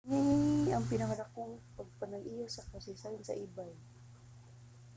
kini ang pinadakong pagpanag-iya sa kasaysayan sa ebay